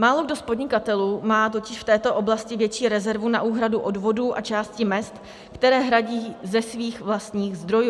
Málokdo z podnikatelů má totiž v této oblasti větší rezervu na úhradu odvodů a části mezd, které hradí ze svých vlastních zdrojů.